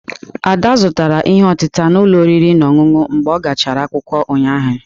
Ada zụtara ihe otịtà n'ụlọ oriri na ọṅụṅụ mgbe a gachara akwụkwọ ụnyahụ.